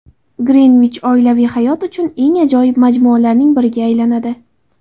Greenwich oilaviy hayot uchun eng ajoyib majmualarning biriga aylanadi.